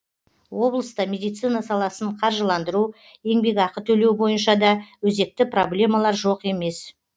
облыста медицина саласын қаржыландыру еңбекақы төлеу бойынша да өзекті проблемалар жоқ емес